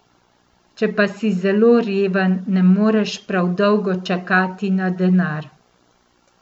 Če pa si zelo reven, ne moreš prav dolgo čakati na denar.